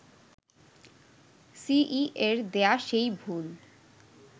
সিইএ’র দেয়া সেই ভুল